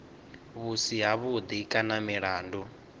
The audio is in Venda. vhu si havhuḓi kana milandu